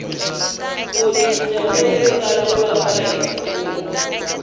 ku cinca loku laviwaka hi